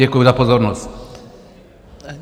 Děkuji za pozornost.